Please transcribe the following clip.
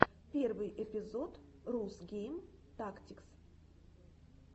первый эпизод рус гейм тактикс